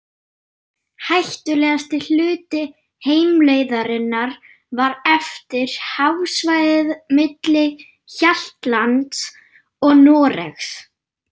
Hættulegasti hluti heimleiðarinnar var eftir, hafsvæðið milli Hjaltlands og Noregs.